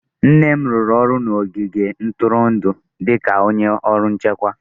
Nne m rụrụ ọrụ n'ogige ntụrụndụ dị ka onye ọrụ nchekwa.